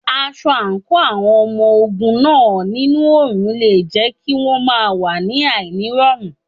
Aṣọ àǹkóò àwọn ọmọ ogun náà nínú òrùn le jẹ́ kí won máa wà ní àìní rọrùn.